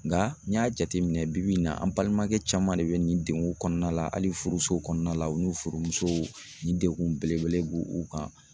Nka n y'a jateminɛ bibi in na an balimakɛ caman de bɛ nin degun kɔnɔna la hali furuso kɔnɔna la u n'u furu musow ni degun belebele b'u u kan